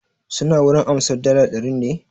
Suna wurin amsar dala ɗarin ne?